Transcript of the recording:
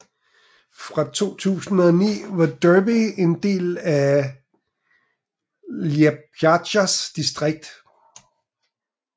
Før 2009 var Durbe en del af Liepājas distrikt